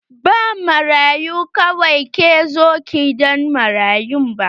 Ba marayu kawai ke zuwa gidan marayu ba.